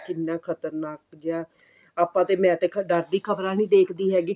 ਕਿੰਨਾ ਖਤਰਨਾਕ ਜਿਹਾ ਆਪਾਂ ਤੇ ਮੈਂ ਤੇ ਡਰ ਦੀ ਖਬਰਾਂ ਨਹੀਂ ਦੇਖਦੀ ਹੈਗੀ